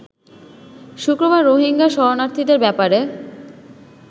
শুক্রবার রোহিঙ্গা শরণার্থীদের ব্যাপারে